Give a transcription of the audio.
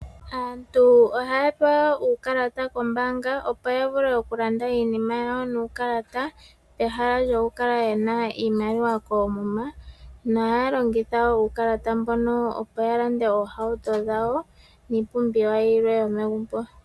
Aantu ohaya pewa uukalata koombanga opo ya vule oku landa iinima yawo nuukalata pehala lyoku kala yena iimaliwa koomuma, noha ya longitha wo uukalata mbuno opo ya lande oohauto dhawo niipumbiwa yilwe yomegumbo.